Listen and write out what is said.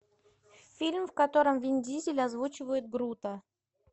фильм в котором вин дизель озвучивает грута